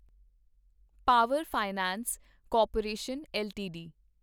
power finance corporation LTD